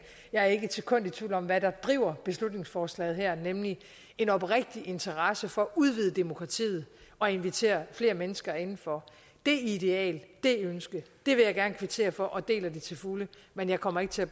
jeg er ikke et sekund i tvivl om hvad der driver beslutningsforslaget her nemlig en oprigtig interesse for at udvide demokratiet og invitere flere mennesker indenfor det ideal det ønske vil jeg gerne kvittere for og jeg deler det til fulde men jeg kommer ikke til